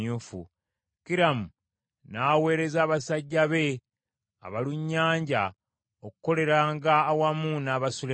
Kiramu n’aweereza abasajja be abalunnyanja okukoleranga awamu n’aba Sulemaani.